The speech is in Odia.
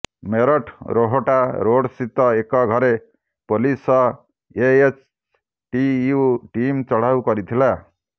ମେରଠ ରୋହଟା ରୋଡ୍ ସ୍ଥିତ ଏକ ଘରେ ପୋଲିସ ସହ ଏଏଚଟିୟୁ ଟିମ୍ ଚଢାଉ କରିଥିଲା